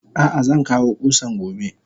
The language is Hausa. Ah ah zankawo kusan gobe.